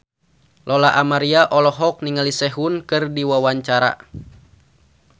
Lola Amaria olohok ningali Sehun keur diwawancara